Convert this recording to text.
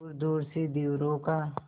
दूरदूर से धीवरों का